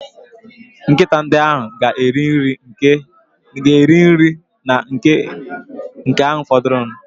Nkịta ndị ahụ ga-eri nri na nke a fọdụrụ.